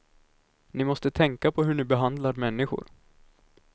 Ni måste tänka på hur ni behandlar människor.